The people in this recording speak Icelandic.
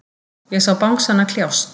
Ég sá bangsana kljást.